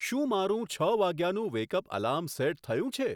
શું મારું છ વાગ્યાનું વેક અપ એલાર્મ સેટ થયું છે